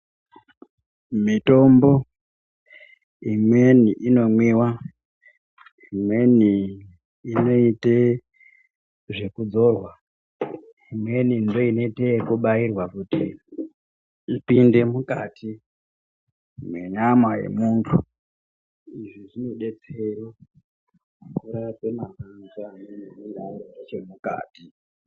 Mitombo imweni inomwiwa ,imweni inoite zvekuzorwa, imweni inobairwa kuti ipinde mukati menyama yemuntu , izvi zvinodetsere kurape matenda anenge ari nechemukati.